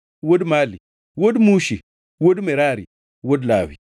wuod Mali, wuod Mushi, wuod Merari, wuod Lawi.